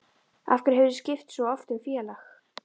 Af hverju hefurðu skipt svo oft um félag?